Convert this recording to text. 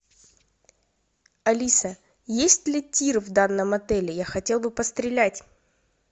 алиса есть ли тир в данном отеле я хотел бы пострелять